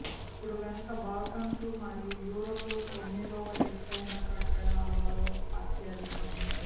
అప్పుడు వెనుక బాల్కన్స్ మరియు యూరోప్ లో తొమ్మిదవ ఎత్తైన కట్టడాలలో అత్యధికం